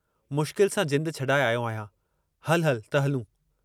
मुश्किल सां जिंदु छॾाए आयो आहियां, हलु हलु त हलूं।